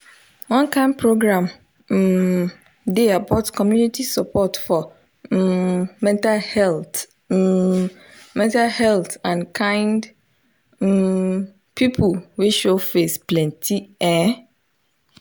one kind program um dey about community support for um mental health um mental health and kind um people wey show face plenty ehh